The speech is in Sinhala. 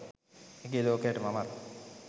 ඇගේ ලෝකයට මමත්